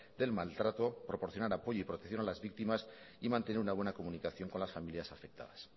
del maltrato proporcionar apoyo y protección a las víctimas y mantener una buena comunicación con las familias afectadas